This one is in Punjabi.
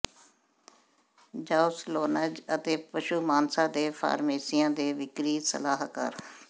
ਜ਼ੂਓਸਾਲੌਨਜ਼ ਅਤੇ ਪਸ਼ੂ ਮਾਨਸਾ ਦੇ ਫਾਰਮੇਸੀਆਂ ਦੇ ਵਿਕਰੀ ਸਲਾਹਕਾਰ